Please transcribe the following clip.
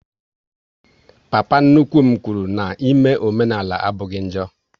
Papa nnukwu m kwụrụ n'ime omenala abụghị njọ